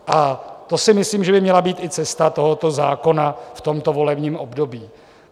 A to si myslím, že by měla být i cesta tohoto zákona v tomto volebním období.